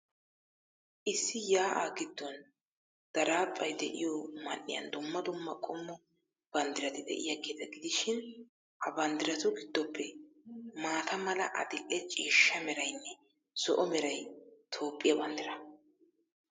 Issi yaa'aa giddon daraphphay de'iyoo man''iyan dumma dumma qommo banddirati de'iyaageeta gidishin, ha banddiratu giddoppe maata mala, adil''e ciishsha meraynne zo'o meray Toophphiyaa banddiraa.